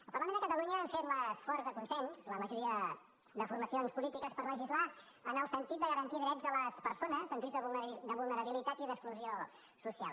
el parlament de catalunya hem fet l’esforç de consens la majoria de formacions polítiques per legislar en el sentit de garantir drets a les persones en risc de vulnerabilitat i d’exclusió social